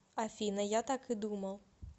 афина я так и думал